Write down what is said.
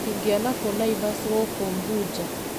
Ingĩona kũ Naĩvasĩ gũkũ Mbuja